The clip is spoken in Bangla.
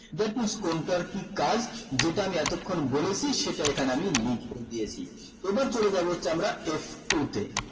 that means কোনটার কি কাজ যেটা আমি এতক্ষণ বলেছি সেটা এখানে আমি লিখে দিয়েছি এবার চলে যাবো হচ্ছে আমরা f two তে